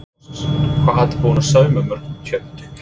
Gísli Óskarsson: Hvað ertu búin að sauma mörg tjöld?